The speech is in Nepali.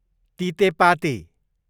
तितेपाती